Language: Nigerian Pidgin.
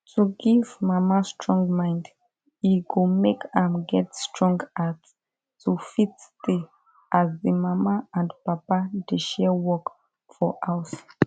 to give mama strong mind e go make am get strong heart to fit stay as the mama and papa dey share work for house